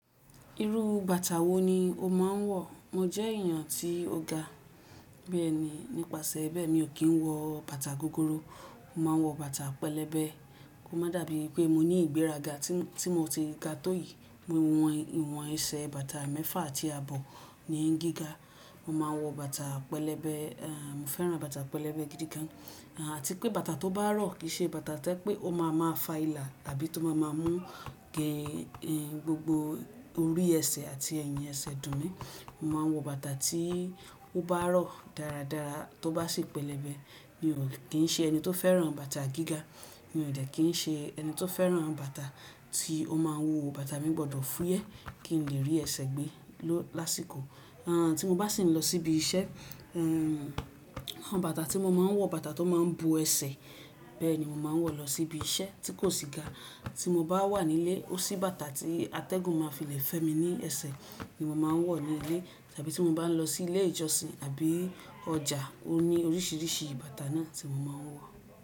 Irú bàtà wo ni o máa ń wọ̀? Mo jẹ́ èèyàn tí ó ga, bẹ́ẹ̀ ni nípasẹ̀ bẹ́ẹ̀ mi ò kì ń wọ bàtà gogoro. Mo máa ń wọ bàtà pẹlẹbẹ, kó máa dàbí pé mo ní ìgbéraga tí mo ti ga tó yìí. Mo hun ìwọ̀n ẹsẹ̀ bàtà mẹ́fà àti àbọ̀ ni í gíga. Mo máa wọ bàtà pẹlẹbẹ, mm mo fẹ́ràn bàtà pẹlẹbẹ gidi gan. Àti pé bàtà tó bá rọ̀ kì í ṣe bàtà tí ẹ́ pé ó máa máa fa ìlà tàbí tó máa máa mú gé gbogbo orí ẹsẹ̀ àti ẹyin ẹsẹ̀ dùn mí. Mo máa ń wọ bàtà tí ó bá rọ̀ dáradára, tí ó bá sì pẹlẹbẹ. Mi ò kí ń ṣe ẹni tó fẹ́ràn bàtà gíga, mi ò de kí ń ṣe ẹni tó fẹ́ràn bàtà tí ó máa wuwó bàtà mi gbọdọ̀ fúyẹ́ kí n lè rí ẹsẹ̀ gbé lásìkò. À tí mo bá sì ń lọ síbi iṣẹ́, bàtà tí mo máa ń wọ̀, bàtà tó máa ń bo ẹsẹ̀, bẹ́ẹ̀ ni mo máa ń wọ̀ lọ síbi iṣẹ́ tí kò sí ga. Tí mo bá wà nílé, ó sì bàtà tí atẹ́gùn máa fi le fẹ́ mi ní ẹsẹ̀ ni mo máa ń wọ̀ nílé. Tàbí tí mo bá ń lọ sí ilé ìjọsìn àbí ọjà, ó ní oríṣiríṣi bàtà náà tí mo máa ń wọ̀